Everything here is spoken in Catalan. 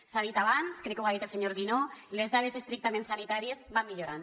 s’ha dit abans crec que ho ha dit el senyor guinó les dades estrictament sanitàries van millorant